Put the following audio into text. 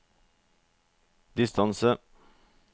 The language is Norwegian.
distance